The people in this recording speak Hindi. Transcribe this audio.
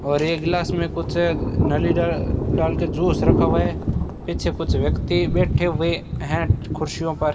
और एक ग्लास मे कुछ नालिद्दा डाल के ज्यूस रखा हुआ है पीछे कुछ व्यक्ति बैठे हुए है कुर्सियों पर --